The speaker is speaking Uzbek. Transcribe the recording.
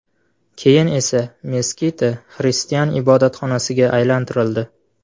Keyin esa Meskita xristian ibodatxonasiga aylantirildi.